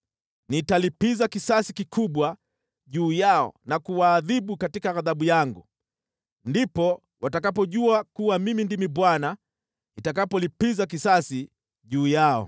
Nitalipiza kisasi kikubwa juu yao na kuwaadhibu katika ghadhabu yangu. Ndipo watakapojua kuwa Mimi ndimi Bwana , nitakapolipiza kisasi juu yao.’ ”